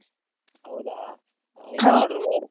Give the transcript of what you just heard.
ಹೌದಾ order ಮಾಡು.